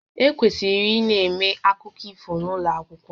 E kwesịrị ịna-eme akụkọ ifo n'ụlọ akwụkwọ